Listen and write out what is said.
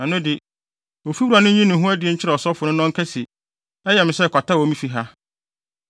ɛno de, ofiwura no nyi ne ho adi nkyerɛ ɔsɔfo no na ɔnka se, ‘Ɛyɛ me sɛ kwata wɔ me fi ha!’